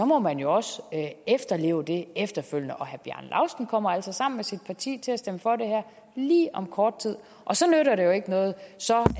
må man jo også efterleve det og herre bjarne laustsen kommer altså sammen med sit parti til at stemme for det her lige om kort tid og så nytter det jo ikke noget